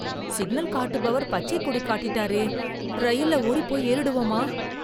Signal காட்டுபவர் பச்சை கொடி காட்டிட்டாரே, ரயில்ல ஓடிப்போய் ஏறிடுவமா?